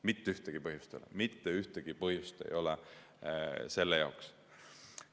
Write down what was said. Mitte ühtegi põhjust ei ole, mitte ühtegi põhjust ei ole selle jaoks.